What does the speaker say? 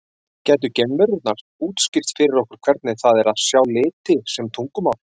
Gætu geimverurnar útskýrt fyrir okkur hvernig það er að sjá liti sem tungumál?